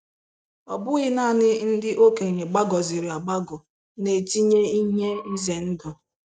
” Ọ bụghị naanị ndị okenye gbagọziri agbagọ na-etinye ihe ize ndụ.